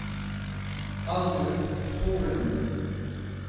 Arnulf Solum